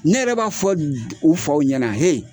Ne yɛrɛ b'a fɔ u faw ɲɛna